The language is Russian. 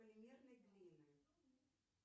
полимерной глины